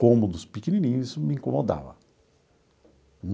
Cômodos pequenininhos, isso me incomodava.